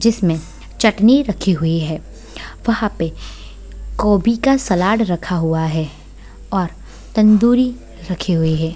जिसमें चटनी रखी हुई है | वहाँ पे गोबी का सलाद रखा हुआ है और तंदूरी रखी हुई है।